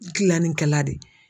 Gilannikɛla de ye.